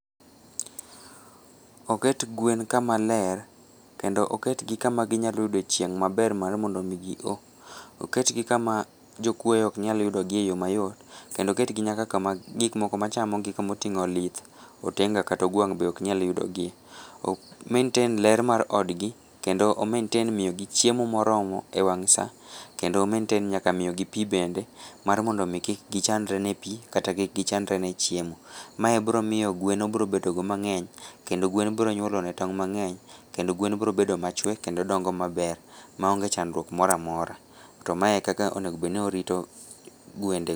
Oket gwen kamaler kendo, oketgi kama ginyaloyude chieng maber marmondomii gioo, oketgi kama jokuoe oknyalyudogi e yoo mayot, kendo oketgi nyaka kama gikmoko machamogi kamoting'o olith, otenga kata ogwang' be oknyalyudogie, o maintain ler mar odgi, kendo o maintain miyogi chiemo moromo wang' saa, kendo o maintain nyaka miyigi pii bende marmondomi kik gichandre ne pii kata kikgichandre ne chiemo, mae bromiyo gwen obrobedo go mang'eny kendo gwen bronyuolone tong' mang'eny, kendo gwen brobedo machwe kendo dongo maber maonge chandruok moramora, to mae e kaka onego bedni orito gwendego.